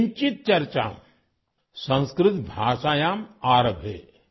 سنسکرت زبانوں پر آدیا آہم کنچیت کی بحث شروع